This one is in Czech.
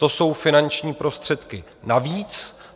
To jsou finanční prostředky navíc.